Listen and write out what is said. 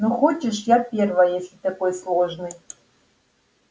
ну хочешь я первая если такой сложный